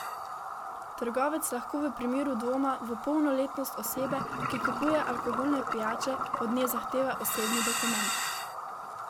Trgovec lahko v primeru dvoma v polnoletnost osebe, ki kupuje alkoholne pijače, od nje zahteva osebni dokument.